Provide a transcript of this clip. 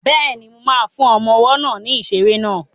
Bẹ́ẹ̀ni, mo ma fún ọmọ ọwọ́ náà ní ìṣeré náà